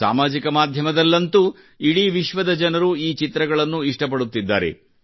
ಸಾಮಾಜಿಕ ಮಾಧ್ಯಮದಲ್ಲಂತೂ ಇಡೀ ವಿಶ್ವದ ಜನರು ಈ ಚಿತ್ರಗಳನ್ನು ಇಷ್ಟಪಡುತ್ತಿದ್ದಾರೆ